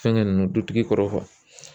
Fɛnkɛ ninnu dutigi kɔrɔ kɔ.